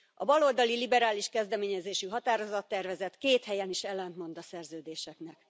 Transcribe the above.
A baloldali liberális kezdeményezésű határozattervezet két helyen is ellentmond a szerződéseknek.